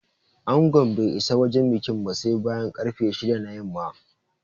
Angon bai isa wajen bikin ba sai bayan ƙarfe shida na yamma